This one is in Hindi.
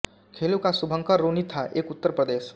खेलों का शुभंकर रोनी था एक उत्तर प्रदेश